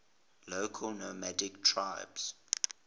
local nomadic tribes